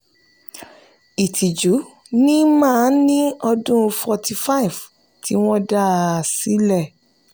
ìtìjú ni mma ní ọdún forty five tí wọ́n dá a sílẹ̀.